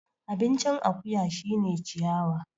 Abincin akuya shine ciyawa